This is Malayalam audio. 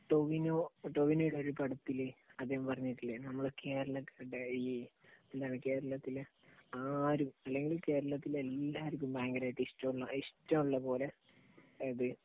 ടോവിനോ ടോവിനോയുടെ ഒരുപടത്തില് അദ്ദേഹം പറഞ്ഞിട്ടില്ലേ നമ്മൾ കേരളത്തില് ഈ, കേരളത്തില് ആരും അല്ലെങ്കില് കേരളത്തിലെ എല്ലാവർക്കും ഭയങ്കരമായിട്ട് ഇഷ്ടമുള്ള, ഇഷ്ടമുള്ളതുപോലെ ഇത്